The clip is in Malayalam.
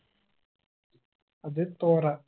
അത് തൗറാത്